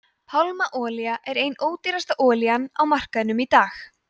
pálmaolía er ein ódýrasta olían á markaðinum í dag